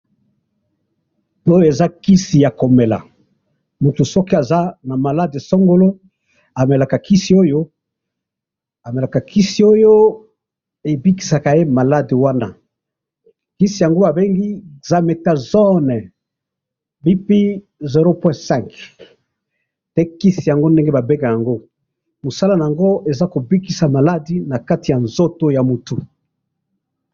Oyo eza kisi yakomela, mutu soki aza namalade songolo amelaka kisi oyo, amelaka kisi oyo ebikisa ye malade wana, kisi yango babengi Dexaméthasone BP 0.5mg, pe kisi yango ndenge babengaka yango, musala naango eza kobikisa bamalade nakati ya nzoto ya mutu.